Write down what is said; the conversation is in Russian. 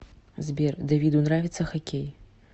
сбер давиду нравится хоккей